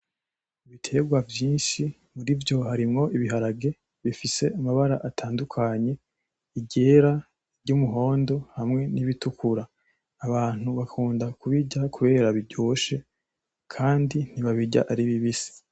Ibiterwa vyinshi murivyo harimwo ibiharage bifise amabara atandukanye iryera, iryumuhondo hamwe n'ibitukura, abantu bakunda kubirya kubera biryoshe kandi ntibabirya ari bibisi.